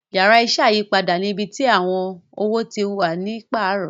Yàrá iṣẹ́ ayípadà ni ibí tí àwọn owo tí wá ní paarọ